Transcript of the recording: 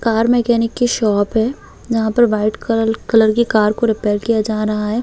Car mechanic की shop है यहाँ पर वाइट कलर की कार को रिपेयर किया जा रहा है ।